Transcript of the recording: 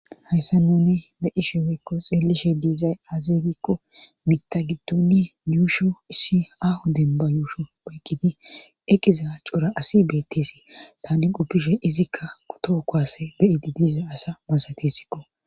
hayssa nuni be'ishe weykko xeelishe diizay azee gikko mitta giddoni yuusho issi aaho demba yuusho woyqqidi eqiza cora asi betteesi tani qoppishe izikka kuto koase beyidi diiza asa masatissikko